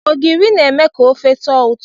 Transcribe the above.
Ogiri na-eme ka ofe tọọ ụtọ.